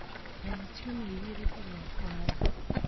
Rĩma ciumĩa igĩrĩ mbere ya kũhanda.